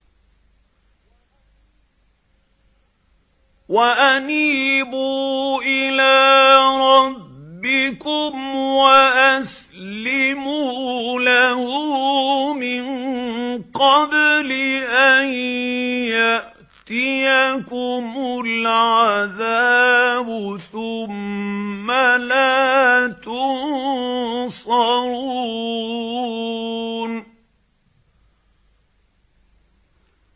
وَأَنِيبُوا إِلَىٰ رَبِّكُمْ وَأَسْلِمُوا لَهُ مِن قَبْلِ أَن يَأْتِيَكُمُ الْعَذَابُ ثُمَّ لَا تُنصَرُونَ